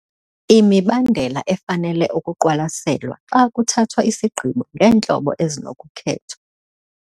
Imibandela efanele ukuqwalaselwa xa kuthathwa isigqibo ngeentlobo ezinokukhethwa